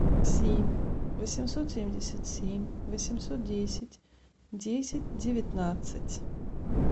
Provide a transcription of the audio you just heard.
семь восемьсот семьдесят семь восемьсот десять десять девятнадцать